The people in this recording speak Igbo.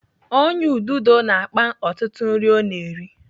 Ọnyá ududo na-akpa ọtụtụ nri ọ na-eri.